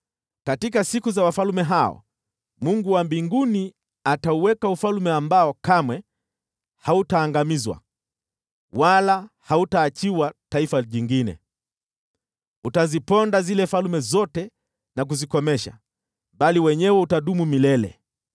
“Katika siku za wafalme hao, Mungu wa mbinguni atauweka ufalme ambao kamwe hautaangamizwa, wala hautaachiwa taifa jingine. Utaziponda zile falme zote na kuzikomesha, bali wenyewe utadumu milele.